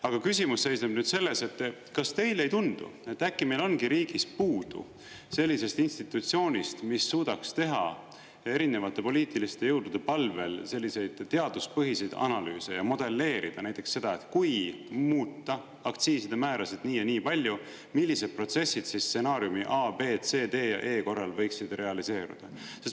Aga küsimus seisneb selles, et kas teile ei tundu, et äkki meil on riigis puudu sellisest institutsioonist, mis suudaks teha erinevate poliitiliste jõudude palvel selliseid teaduspõhiseid analüüse ja modelleerida näiteks seda, et kui muuta aktsiiside määrasid nii ja nii palju, millised protsessid stsenaariumi A, B, C, D ja E korral võiksid realiseeruda.